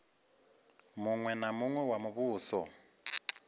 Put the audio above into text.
muṅwe na muṅwe wa muvhuso